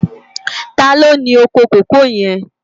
Tàló ni ókó kókòó yèn?